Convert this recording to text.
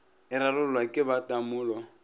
e rarollwa ke ba tamolo